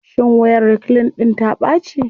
Shin wayar reclean ɗIn ta ɓaci.